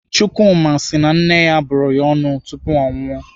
Chukwuma si na nne ya bụrụ ya ọnụ tupu o nwụọ.